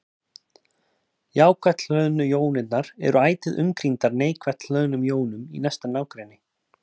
Jákvætt hlöðnu jónirnar eru ætíð umkringdar neikvætt hlöðnum jónum í næsta nágrenni.